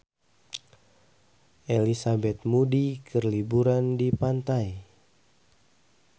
Elizabeth Moody keur liburan di pantai